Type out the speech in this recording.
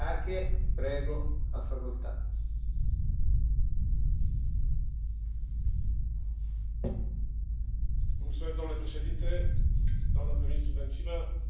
Domnule Președinte, doamnă prim ministru Dăncilă, domnule vicepreședinte Šefčovič, prima Președinție română a Consiliului Uniunii Europene a fost una a contrastelor.